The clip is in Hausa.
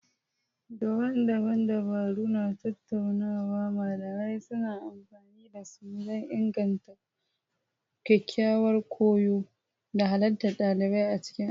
Daban-daban dabaru na tattaunawa malamai suna amfani da su don inganta ƙwaƙƙwaran koyo da halartar ɗalibai a cikin aji.